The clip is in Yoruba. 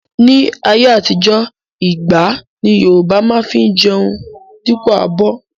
Ni ayé àtijó, igbá ni Yorùbá má fi ń jẹun dípò abọ́